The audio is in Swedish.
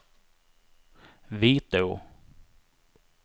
Vitå